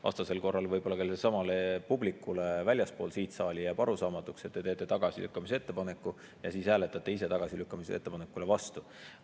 Vastasel korral võib-olla sellelesamale publikule väljaspool seda saali jääb arusaamatuks, miks te teete tagasilükkamise ettepaneku ja siis hääletate ise tagasilükkamise vastu.